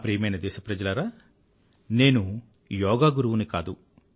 నా ప్రియమైన దేశప్రజలారా నేను యోగా గురువుని కాదు